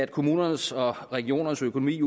kommunernes og regionernes økonomi